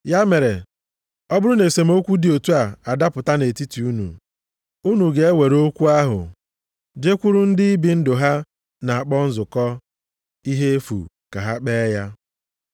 Ya mere, ọ bụrụ na esemokwu dị otu a adapụta nʼetiti unu, unu ga-ewere okwu ahụ jekwuru ndị ibi ndụ ha na-akpọ nzukọ ihe efu ka ha kpee ya?